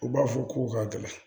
U b'a fɔ k'u ka gɛlɛn